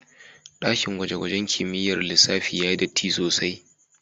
daƙin gwaje-gwajen kimiƴƴar lissafi ya yi ɗatti sosai.